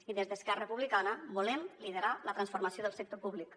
i des d’esquerra republicana volem liderar la transformació del sector públic